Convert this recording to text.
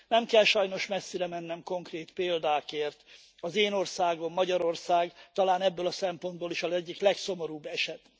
Nem kell sajnos messzire mennem konkrét példákért, az én országom, Magyarország talán ebből a szempontból is az egyik legszomorúbb eset.